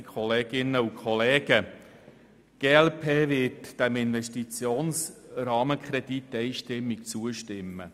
Die glp wird diesem Investitionsrahmenkredit einstimmig zustimmen.